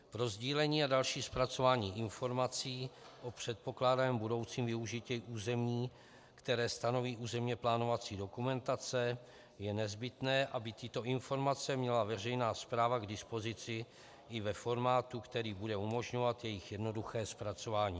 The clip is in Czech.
Pro sdílení a další zpracování informací o předpokládaném budoucím využití území, které stanoví územně plánovací dokumentace, je nezbytné, aby tyto informace měla veřejná správa k dispozici i ve formátu, který bude umožňovat jejich jednoduché zpracování.